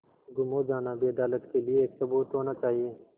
गुम हो जाना भी अदालत के लिये एक सबूत होना चाहिए